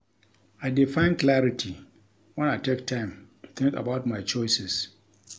I dey find clarity when I take time to think about my choices.